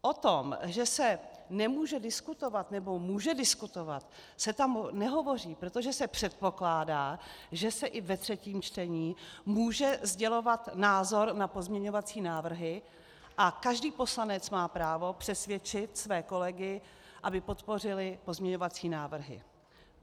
O tom, že se nemůže diskutovat nebo může diskutovat, se tam nehovoří, protože se předpokládá, že se i ve třetím čtení může sdělovat názor na pozměňovací návrhy, a každý poslanec má právo přesvědčit své kolegy, aby podpořili pozměňovací návrhy.